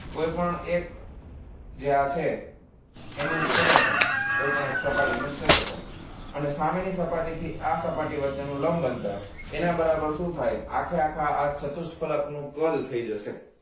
કોઈપણ એક જે આ છે એનું ક્ષેત્રફળ કોઈ પણ એક સપાટી નુ ક્ષેત્રફળ અને સામેની સપાટી થી આ સપાટી વચ્ચે નુ લંબ અંતર એના બરાબર શુ થાય આખેઆખા અર્ધ ચતુષ્ફલક નુ કદ થઈ જશે